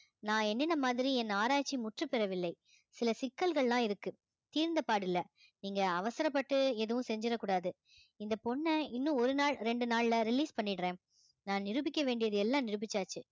நான் மாதிரி என் ஆராய்ச்சி முற்றுப்பெறவில்லை சில சிக்கல்கள் எல்லாம் இருக்கு தீர்ந்தபாடு இல்லை நீங்க அவசரப்பட்டு எதுவும் செஞ்சிடக்கூடாது இந்த பொண்ணை இன்னும் ஒரு நாள் இரண்டு நாள்ல release பண்ணிடுறேன் நான் நிரூபிக்க வேண்டியது எல்லாம் நிரூபிச்சாச்சு